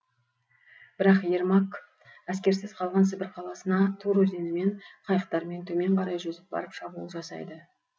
бірақ ермак әскерсіз қалған сібір қаласына тур өзенімен қайықтармен төмен қарай жүзіп барып шабуыл жасайды